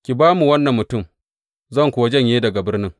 Ki ba mu wannan mutum, zan kuwa janye daga birnin.